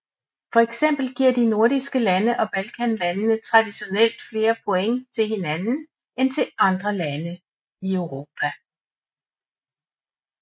For eksempel giver de nordiske lande og balkanlandene traditionelt flere point til hinanden end til andre lande i Europa